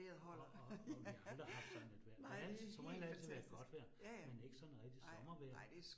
Og og og vi har aldrig haft sådan et vejr. Det altid som regel er det godt vejr, men ikke sådan rigtig sommervejr